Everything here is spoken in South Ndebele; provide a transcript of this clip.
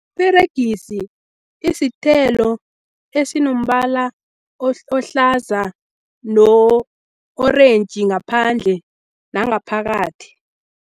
Peregisi isithelo esinombala ohlaza no-orentji ngaphandle nangaphakathi.